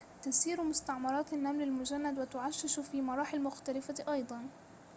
تسير مستعمرات النمل المجند وتعشش في مراحل مختلفة أيضاً